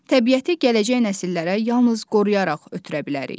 Təbiəti gələcək nəsillərə yalnız qoruyaraq ötürə bilərik.